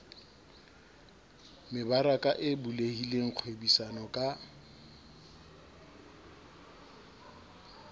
mebaraka e bulehileng kgwebisano ka